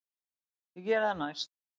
Ég geri það næst.